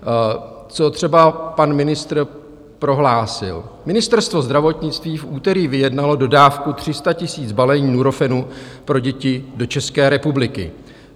Co třeba pan ministr prohlásil: "Ministerstvo zdravotnictví v úterý vyjednalo dodávku 300 000 balení Nurofenu pro děti do České republiky.